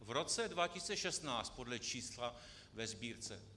V roce 2016 podle čísla ve Sbírce.